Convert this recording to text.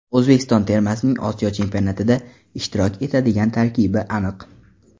O‘zbekiston termasining Osiyo Chempionatida ishtirok etadigan tarkibi aniq.